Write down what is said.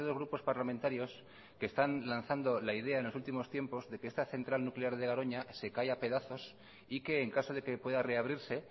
grupos parlamentarios que están lanzando la idea en los últimos tiempos de que esta central nuclear de garoña se cae a pedazos y que en caso de que pueda reabrirse